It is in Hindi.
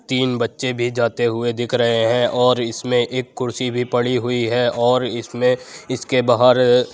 तीन बच्चे भी जाते हुए दिख रहे हैं और इसमें एक कुर्सी भी पढ़ी हुई है और इसमें इसके बाहर --